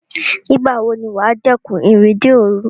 Nígbà wo ni wà á dẹ́kun ìrìnde òrun?